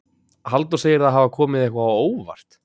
Halldór segir það hafa komið eitthvað á óvart.